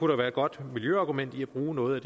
der være et godt miljøargumentet i at bruge noget af